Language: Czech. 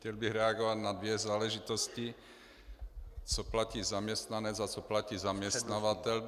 Chtěl bych reagovat na dvě záležitosti - co platí zaměstnanec a co platí zaměstnavatel.